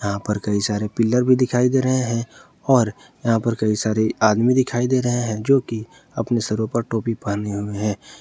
यहां पर कई सारे पिलर दिखाई दे रहे हैं और यहां पर कई सारे आदमी दिखाई दे रहे हैं जोकि अपने सरो पर टोपी पहने हुए हैं।